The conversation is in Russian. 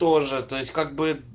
тоже то есть как бы